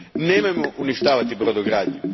Nemojmo uništavati brodogradnju.